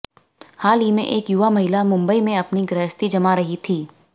हाल ही में एक युवा महिला मुंबई में अपनी गृहस्थी जमा रही थी